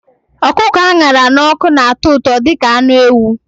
Ọkụkọ a ṅara n'ọkụ na-atọ ụtọ dị ka anụ ewu